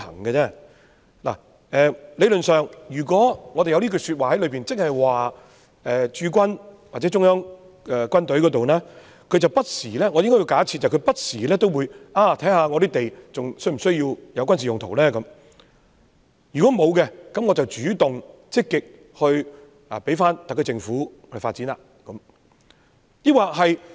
理論上，如果我們包括這句說話在內，我們是假設駐軍或中央軍委不時檢視有關土地是否需要作軍事用途，如果沒有軍事用途，便主動積極交回特區政府發展。